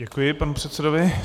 Děkuji panu předsedovi.